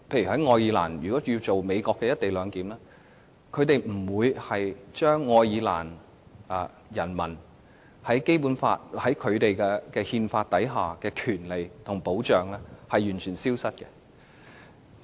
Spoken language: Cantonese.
例如，在愛爾蘭要進行美國的"一地兩檢"，愛爾蘭政府不會令其人民失去該國憲法所授予的權利和保障。